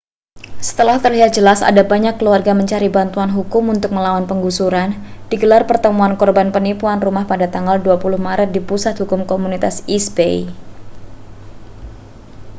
setelah terlihat jelas ada banyak keluarga mencari bantuan hukum untuk melawan penggusuran digelar pertemuan korban penipuan rumah pada tanggal 20 maret di pusat hukum komunitas east bay